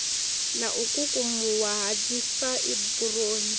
na u kukumuwa ha dzifaiburoni